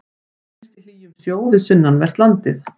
Hann finnst í hlýjum sjó við sunnanvert landið.